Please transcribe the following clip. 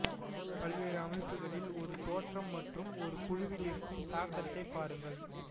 பல்வேறு அமைப்புக்களில் ஒரு தோற்றம் மற்றும் ஒரு குழுவில் இருக்கும் தாக்கத்தை பாருங்கள்